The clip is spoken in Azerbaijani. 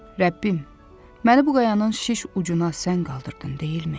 Rəbbim, məni bu qayanın şiş ucuna sən qaldırdın, deyilmi?